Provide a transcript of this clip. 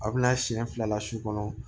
A bɛna siɲɛ fila su kɔnɔ